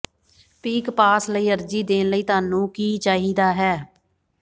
peak pass ਲਈ ਅਰਜ਼ੀ ਦੇਣ ਲਈ ਤੁਹਾਨੂੰ ਕੀ ਚਾਹੀਦਾ ਹੈ